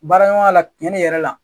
Baara ɲɔgɔnya la tiɲɛli yɛrɛ la